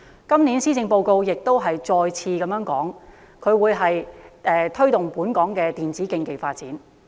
今年的施政報告再次提出推動本港電競發展。